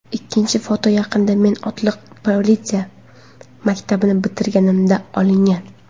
Ikkinchi foto yaqinda, men otliq politsiya maktabini bitirganimda olingan”.